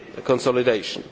consolidation,